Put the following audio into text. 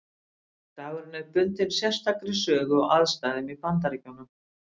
Dagurinn er bundinn sérstakri sögu og aðstæðum í Bandaríkjunum.